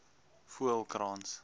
voelkrans